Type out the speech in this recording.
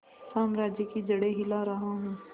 साम्राज्य की जड़ें हिला रहा हूं